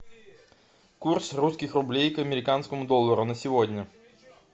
курс русских рублей к американскому доллару на сегодня